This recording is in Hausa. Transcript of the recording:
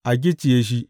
A gicciye shi!